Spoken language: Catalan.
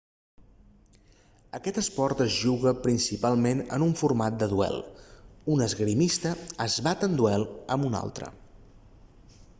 aquest esport es juga principalment en un format de duel un esgrimista es bat en duel amb un altre